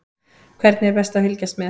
Hvernig er best að fylgjast með?